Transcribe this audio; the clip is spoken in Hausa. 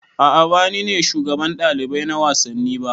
A'a ba ni ne shugaban ɗalibai na wasanni ba